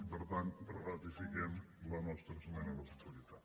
i per tant ratifiquem la nostra esmena a la totalitat